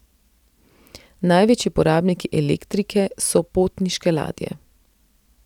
Največji porabniki elektrike so potniške ladje.